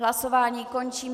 Hlasování končím.